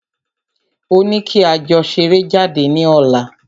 Ó ní kí a jọ ṣeré jáde ní ọ̀la.